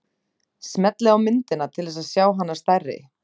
Smellið á myndina til þess að sjá hana stærri.